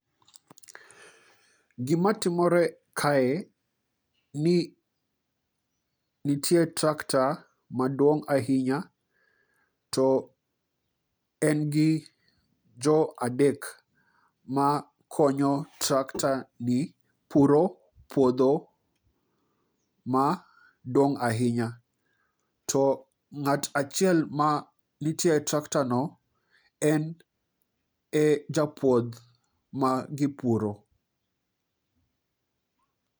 Gima timore kae, ni nitie tractor maduong' ahinya, to en gi jo adek makonyo tractor ni puro puotho maduong' ahinya .To ng'ato achiel mantie e tractor no en e japuoth ma gipuro.